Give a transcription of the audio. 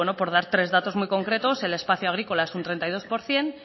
por dar tres datos concretos el espacio agrícola es un treinta y dos por ciento